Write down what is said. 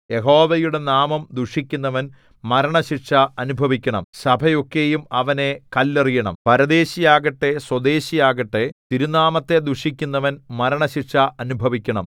യഹോവയുടെ നാമം ദുഷിക്കുന്നവൻ മരണശിക്ഷ അനുഭവിക്കണം സഭയൊക്കെയും അവനെ കല്ലെറിയണം പരദേശിയാകട്ടെ സ്വദേശിയാകട്ടെ തിരുനാമത്തെ ദുഷിക്കുന്നവൻ മരണശിക്ഷ അനുഭവിക്കണം